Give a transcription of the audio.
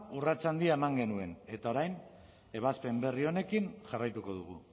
urrats handia eman genuen eta orain ebazpen berri honekin jarraituko dugu